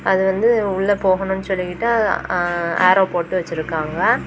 அது வந்து உள்ள போகணும்னு சொல்லிக்கிட்டு ஆஆரோ போட்டு வச்சிருக்காங்க.